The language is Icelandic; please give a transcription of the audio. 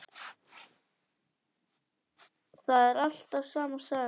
Það er alltaf sama sagan.